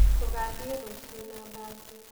Tũgathiĩ rũciũ na mbathi.